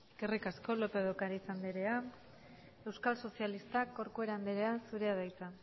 eskerrik asko lópez de ocáriz andrea euskal sozialistak corcuera andrea zurea da hitza